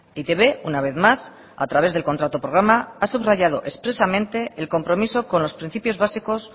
e i te be una vez más a través del contrato programa ha subrayado expresamente el compromiso con los principios básicos